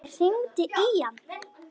Ég hringdi í hann.